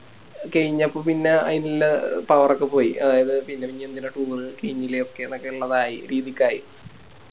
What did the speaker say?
കെയിഞ്ഞപ്പോ പിന്നെ അയിനിള്ളേ Power ഒക്കെ പോയി അഹ് അതായത് പിന്നെനിയിപ്പോ എനിന്തിനാ Toure കൈഞ്ഞില്ല ഒക്കെ ന്നൊക്കെ ന്നുള്ളതായി രീതിക്കായി